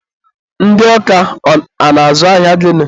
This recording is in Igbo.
ndị ọka a na-azụ ahịa gịnị?